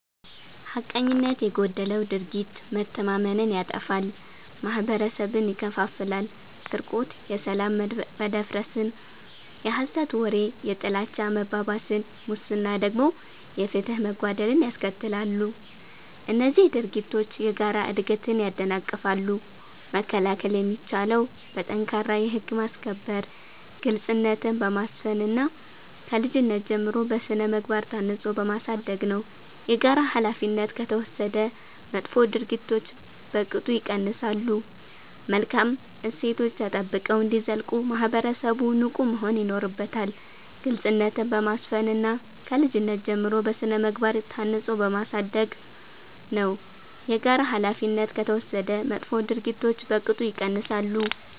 ሐቀኝነት የጎደለው ድርጊት መተማመንን ያጠፋል፤ ማህበረሰብን ይከፋፍላል። ስርቆት የሰላም መደፍረስን፣ የሐሰት ወሬ የጥላቻ መባባስን፣ ሙስና ደግሞ የፍትህ መጓደልን ያስከትላሉ። እነዚህ ድርጊቶች የጋራ እድገትን ያደናቅፋሉ። መከላከል የሚቻለው በጠንካራ የህግ ማስከበር፣ ግልጽነትን በማስፈን እና ከልጅነት ጀምሮ በሥነ-ምግባር ታንጾ በማሳደግ ነው። የጋራ ኃላፊነት ከተወሰደ መጥፎ ድርጊቶች በቅጡ ይቀንሳሉ። መልካም እሴቶች ተጠብቀው እንዲዘልቁ ማህበረሰቡ ንቁ መሆን ይኖርበታል። ግልጽነትን በማስፈን እና ከልጅነት ጀምሮ በሥነ-ምግባር ታንጾ በማሳደግ ነው። የጋራ ኃላፊነት ከተወሰደ መጥፎ ድርጊቶች በቅጡ ይቀንሳሉ።